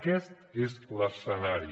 aquest és l’escenari